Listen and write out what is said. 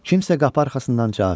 Kimsə qapı arxasından cavab verdi.